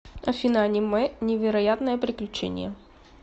афина аниме невероятное приключение